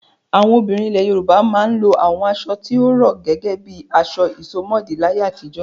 Àwọn obìnrin ilẹ̀ Yorùbá máa ń lo àwọn aṣọ tó rọ̀ gẹ́gẹ́ bí aṣọ ìsomọ́ọ̀dí láyé àtijọ́.